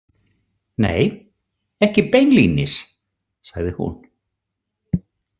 Nei, ekki beinlínis, sagði hún.